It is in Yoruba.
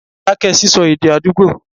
dákẹ́ sísọ èdè àdúgbò.